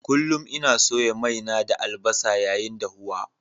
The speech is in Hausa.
Kullum ina soya mai na da albasa yayin dahuwa.